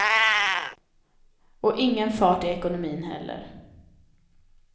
Och ingen fart i ekonomin heller.